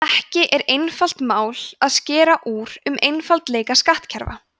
ekki er einfalt mál að skera úr um einfaldleika skattkerfa